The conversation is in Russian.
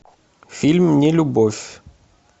фильм нелюбовь